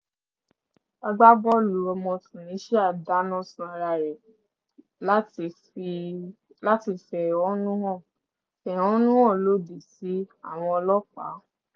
agbábọ́ọ̀lù ọmọ tunisia dáná sun ara rẹ̀ láti fẹ̀hónúhàn fẹ̀hónúhàn lòdì sí àwọn ọlọ́pàá